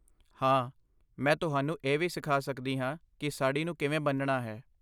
ਹਾਂ, ਮੈਂ ਤੁਹਾਨੂੰ ਇਹ ਵੀ ਸਿਖਾ ਸਕਦੀ ਹਾਂ ਕਿ ਸਾੜ੍ਹੀ ਨੂੰ ਕਿਵੇਂ ਬੰਨ੍ਹਣਾ ਹੈ।